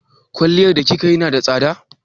Kwalliyar da kika yi na da tsada?